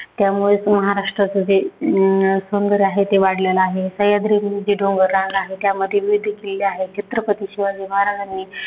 त्यामुळेचं महाराष्ट्रचं अं जे सौंदर्य आहे ते वाढलेलं आहे. सह्यांद्री जे डोंगररांग आहे, त्यामध्ये विविध किल्ले आहेत. छत्रपती शिवाजी महाराजांना